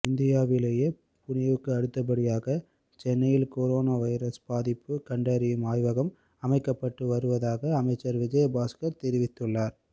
இந்தியாவிலேயே புனேவுக்கு அடுத்தப்படியாக சென்னையில் கொரோனா வைரஸ் பாதிப்பு கண்டறியும் ஆய்வகம் அமைக்கப்பட்டு வருவதாக அமைச்சர் விஜயபாஸ்கர் தெரிவித்துள்ளார்